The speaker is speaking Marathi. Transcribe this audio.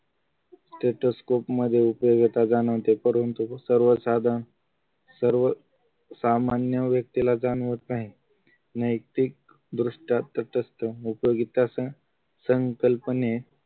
stethoscope मध्ये उपयोगिता जाणवते परंतु सर्वसाधारण सर्व सामान्य व्यक्तीला जाणवत नाही नैतिकदृष्ट्यात तटस्थ उपयोगिता संकल्पने